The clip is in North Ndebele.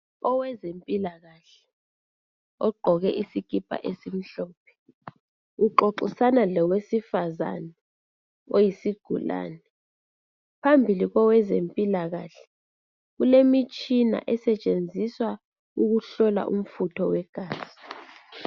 Owezempilakahke ogqoke isikipa esimhlophe uxoxisana lowesifazana oyisigulane phambili kowezempilakahle kulemitshina esetshenziswa ukuhlola umfutho wegazi.